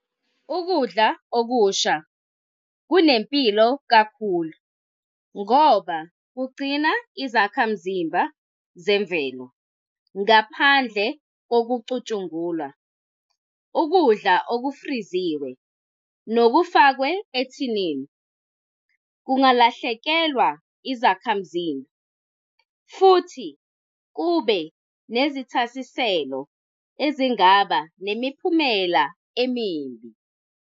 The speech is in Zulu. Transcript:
Ukudla okusha kunempilo kakhulu, ngoba kugcina izakhamzimba zemvelo ngaphandle kokucutshungulwa. Ukudla okufriziwe, nokufakwe ethinini kungalahlekelwa izakhamzimba. Futhi kube nezithasiselo ezingaba nemiphumela emibi.